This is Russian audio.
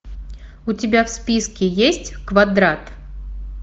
у тебя в списке есть квадрат